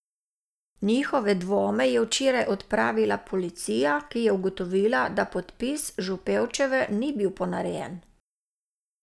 Njihove dvome je včeraj odpravila policija, ki je ugotovila, da podpis Župevčeve ni bil ponarejen.